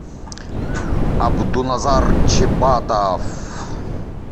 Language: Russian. абдуназар чебатов